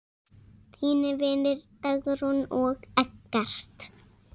Þínir vinir, Dagrún og Eggert.